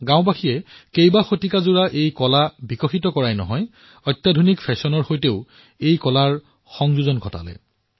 গাঁওবাসীয়ে কেৱল শতিকাপুৰণি নিজৰ এই কলাক সংৰক্ষণ কৰাই নহয় বৰঞ্চ তাক আধুনিক ফেশ্বনৰ সৈতেও সংযোজিত কৰিলে